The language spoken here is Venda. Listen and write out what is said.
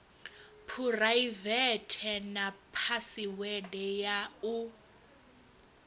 phuraivethe na phasiwede ya u